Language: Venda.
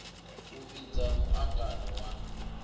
u vhidza mu angano wa